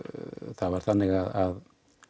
það var þannig að